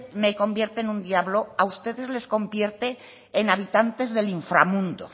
me convierte en un diablo a ustedes les convierte en habitantes del inframundo